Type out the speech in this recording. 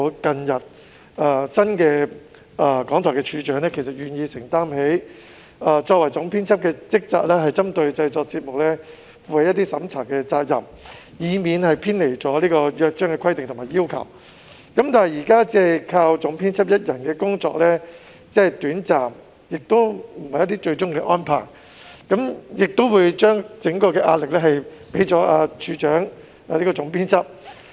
雖然新任廣播處長最近表明願意承擔其作為總編輯的職責，負上針對節目製作進行審查的責任，以免偏離《約章》的規定和要求，但單靠總編輯一人之力，只可發揮短暫功效，不能作為最終的安排，而且此舉會把所有壓力置於總編輯身上。